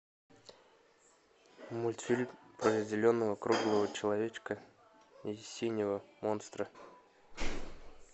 мультфильм про зеленого круглого человечка и синего монстра